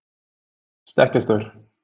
stekkjarstaur